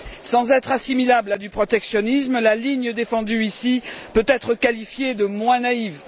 Sans être assimilable à du protectionnisme, la ligne défendue ici peut être qualifiée de moins naïve.